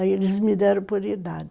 Aí eles me deram por idade.